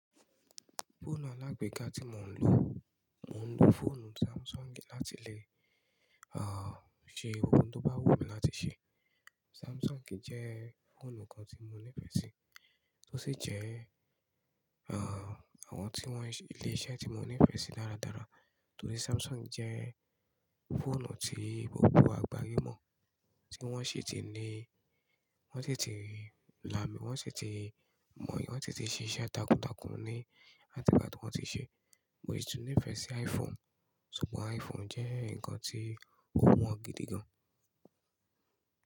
Fóònù alágbeká tí mò ń lò, mò ń lò fọ́ònù Samsung láti lè, ṣe ohun tó bá wù mí láti ṣe. Samsung jẹ́ fọ́ònù kan tí mo nífẹ̀ẹ́ sí, ó sì jẹ́, àwọn tí wọ́n se ilé iṣẹ́ tí mo nífẹ̀ẹ́ sí dáradára. Tòrí Samsung jẹ́ fọ́ònù tí gbogbo agbaye mọ̀, tí wọ́n sì ti ní, wọ́n sì ti l'ami, wọ́n sì ti mọ̀, wọ́n sì ti ṣe iṣẹ́ takuntakun ní àtìgbàtí wọ́n ti ṣe. Mo si tù nífẹ̀ẹ́ sí iPhone, ṣùgbọ́n iPhone jẹ́ nǹkan tí ó wọ́n gidi gan.